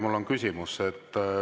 Mul on küsimus.